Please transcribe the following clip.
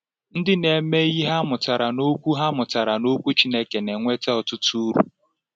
Ndị na-eme ihe ha mụtara n’Okwu ha mụtara n’Okwu Chineke na-enweta ọtụtụ uru.